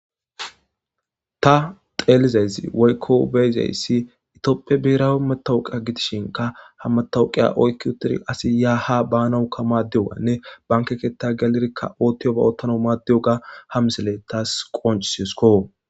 Ta xeelizayssi woyko be'izayssi etophiya biherawi matawuqiya gidishinka ha matawuqiya oyki uttidi asi ya haa baanawka madiyoganne banke keetha gelidika oothiyoba oothanaw maadiyogaha misiley tawu qonccisesko.